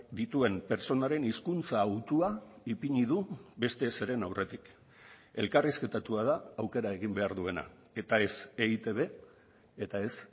dituen pertsonaren hizkuntza hautua ipini du beste zeren aurretik elkarrizketatua da aukera egin behar duena eta ez eitb eta ez